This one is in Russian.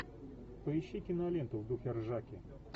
поищи киноленту в духе ржаки